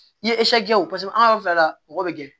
N'i ye kɛ o paseke an ka yɔrɔ fila mɔgɔ bɛ gɛn